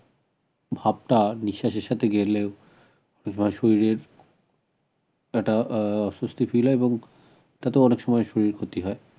ভাবটা নিঃশ্বাসের সাথে গেলে শরীরের একটা আহ অসুস্থি feel হয় এবং তাতেও অনেক সময় শরীরের ক্ষতি হয়